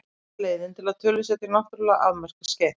Einfaldasta leiðin til þess er að tölusetja náttúrlega afmörkuð skeið.